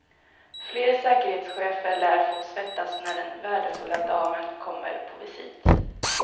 Fler säkerhetschefer lär få svettas när den värdefulla damen kommer på visit.